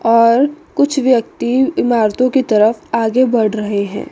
और कुछ व्यक्ति इमारतों के तरफ आगे बढ़ रहे हैं।